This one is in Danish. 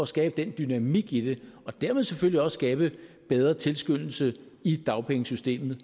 skabe den dynamik i det og dermed selvfølgelig også skabe bedre tilskyndelse i dagpengesystemet